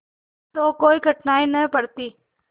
तो कोई कठिनाई न पड़ती